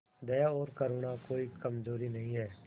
दया और करुणा कोई कमजोरी नहीं है